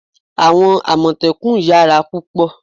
àwọn amotekun yara púpò